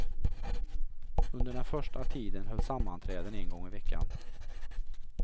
Under den första tiden hölls sammanträden en gång i veckan.